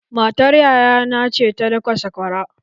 Matar yaya na ce ta daka sakwaran.